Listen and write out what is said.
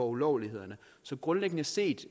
ulovlighederne så grundlæggende set